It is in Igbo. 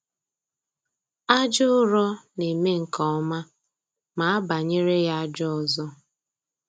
Aja ụrọ na-eme nke ọma ma abanyere ya aja ọzọ